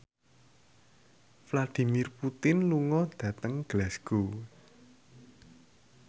Vladimir Putin lunga dhateng Glasgow